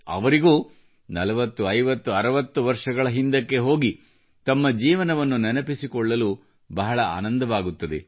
ಅವರಿಗೂ 40 50 60 ವರ್ಷಗಳ ಹಿಂದಕ್ಕೆ ಹೋಗಿ ತಮ್ಮ ಜೀವನವನ್ನು ನೆನಪಿಸಿಕೊಳ್ಳಲು ಬಹಳ ಆನಂದವಾಗುತ್ತದೆ